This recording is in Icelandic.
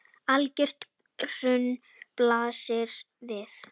Algert hrun blasir við.